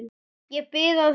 Ég bið að heilsa.